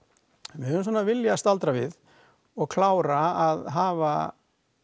við höfum svona viljað staldra við og klára að hafa